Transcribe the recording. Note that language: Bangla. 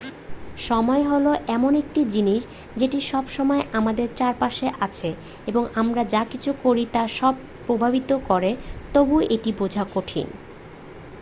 সময় হলো এমন একটি জিনিস যেটি সব সময় আমাদের চারপাশে আছে এবং আমরা যা কিছু করি তা সব প্রভাবিত করে তবুও এটি বোঝা কঠিন